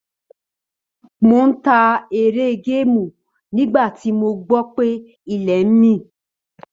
Mò ń ta eré géèmù nígbà tí mo gbọ́ pé ilẹ̀ ń mì.